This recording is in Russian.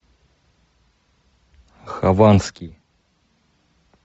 хованский